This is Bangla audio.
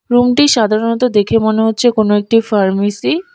রুমটি সাধারণত দেখে মনে হচ্ছে কোনো একটি ফার্মেসি ।